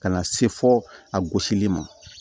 Ka na se fo a gosili ma